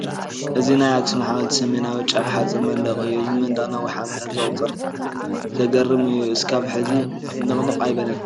እዚ ናይ ኣኽሱም ሓወልቲ ሰሜናዊ ጫፍ ሓፁር መንደቕ እዩ፡፡ እዚ መንደቕ ነዊሕ ዓመታት ዘቑፀረ እዩ፡፡ ዝገርም እዩ፡፡ እስካብ ሕዚ ንቕንቕ ኣይበለን፡፡